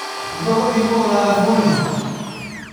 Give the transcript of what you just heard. Nĩ tũgũthiĩ kũgũra thabuni?